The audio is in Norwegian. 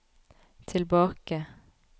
tilbake